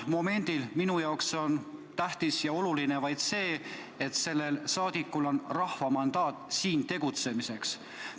Momendil on minule tähtis ja oluline vaid see, et sellel saadikul on rahva mandaat siin tegutsemiseks.